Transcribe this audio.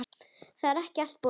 Það er ekki allt búið.